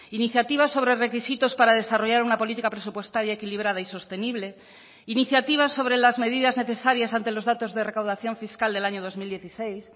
iniciativas sobre requisitos para desarrollar una política presupuestaria equilibrada y sostenible iniciativas sobre las medidas necesarias ante los datos de recaudación fiscal del año dos mil dieciséis